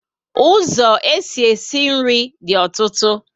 Ụzọ esi e si nri dị ọtụtụ